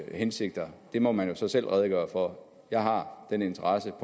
hensigter må man jo selv redegøre for jeg har den interesse